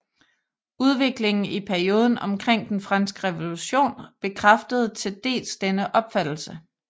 Udviklingen i perioden omkring den franske revolution bekræftede til dels denne opfattelse